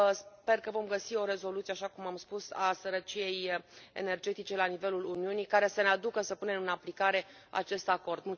Sper că vom găsi o rezoluție, așa cum am spus, a sărăciei energetice la nivelul Uniunii care să ne aducă să punem în aplicare acest acord.